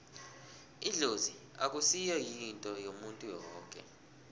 idlozi akusi yinto yomuntu woke